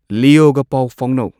ꯂꯤꯌꯣꯒ ꯄꯥꯎ ꯐꯥꯎꯅꯧ